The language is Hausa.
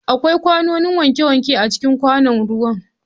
Akwai kwanoni wankewanke a cikin kwanon ruwa.